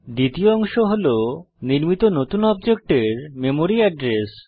দ্বিতীয় অংশ হল নির্মিত নতুন অবজেক্টের মেমরি এড্রেস